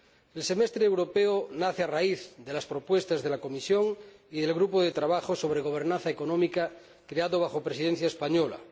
El semestre europeo nace a raíz de las propuestas de la Comisión y del Grupo de trabajo sobre gobernanza económica, creado bajo la Presidencia española.